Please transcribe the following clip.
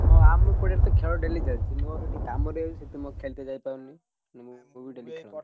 ହଁ ଆମ ପଡିଆରେ ତ ଖେଳ daily ଚାଲଚି ମୋର ଗୋଟେ କାମ ରହିଯାଉଛି ସେଥିପାଇଁ ମୁଁ ଖେଳିତେ ଯାଇପାରୁନି ମାନେ ଆଗୁରୁ daily